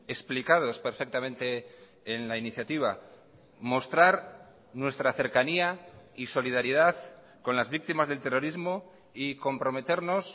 explicados perfectamente en la iniciativa mostrar nuestra cercanía y solidaridad con las víctimas del terrorismo y comprometernos